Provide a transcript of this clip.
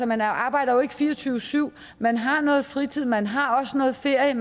man arbejder jo ikke fire og tyve syv man har noget fritid og man har også noget ferie